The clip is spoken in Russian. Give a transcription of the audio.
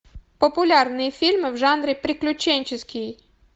популярные фильмы в жанре приключенческий